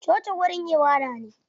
Coci wurin ibada ne.